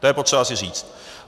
To je potřeba si říct.